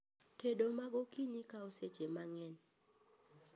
Tedo magokinyi kao seche mang'eny